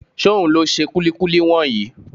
Ṣóhun ló ṣe kúlíkúlí wọ̀nyí?